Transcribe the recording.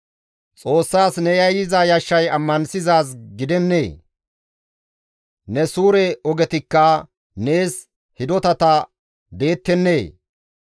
Xoossaas ne yayyiza yashshay ammanththizaaz gidennee? Ne suure ogetikka nees hidotata deettennee?